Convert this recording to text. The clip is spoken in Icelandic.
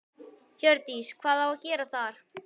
Hjördís: Hvað á að gera þar?